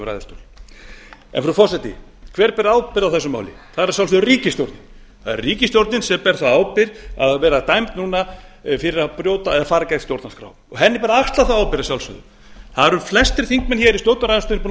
ræðustól frú forseti hver ber ábyrgð á þessu máli það er að sjálfsögðu ríkisstjórnin það er ríkisstjórnin sem ber þá ábyrgð að vera dæmd núna fyrir að fara gegn stjórnarskrá og henni ber að axla þá ábyrgð að sjálfsögðu það eru flestir þingmenn í stjórnarandstöðunni búnir að